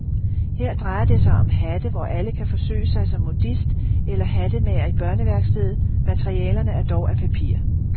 Her drejer det sig om hatte, hvor alle kan forsøge sig som modist eller hattemager i børneværkstedet, materialerne er dog af papir.